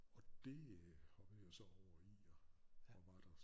Og det øh hoppede jeg så over i og var der